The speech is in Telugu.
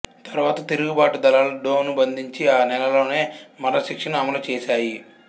తరువాత తిరుగుబాటు దళాలు డోను బంధించి ఆ నెలలోనే మరణశిక్షను అమలు చేసాయి